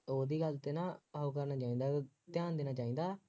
ਉਹਦੀ ਗੱਲ ਤੇ ਨਾ ਉਹ ਕਰਨਾ ਚਾਹੀਦਾ ਬਈ ਧਿਆਨ ਦੇਣਾ ਚਾਹੀਦਾ